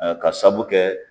Ɔ K'a saabu kɛ